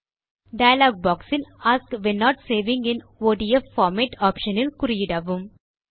dialogue boxயில் ask when not saving in ODF format option இல் குறியிடவும்